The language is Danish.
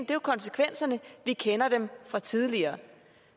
jo konsekvenserne vi kender dem fra tidligere